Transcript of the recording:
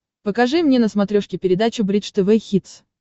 покажи мне на смотрешке передачу бридж тв хитс